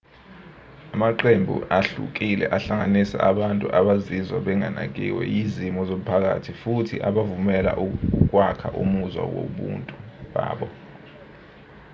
amaqembu ahlukile ahlanganisa abantu abazizwa benganakiwe yizimiso zomphakathi futhi abavumela ukwakha umuzwa wobuntu babo